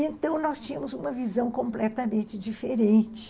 Então, nós tínhamos uma visão completamente diferente.